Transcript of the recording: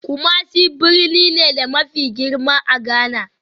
Kumasi birni ne, da mafi girma a Ghana